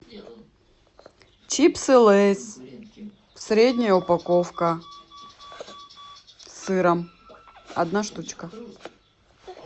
чипсы лейс средняя упаковка с сыром одна штучка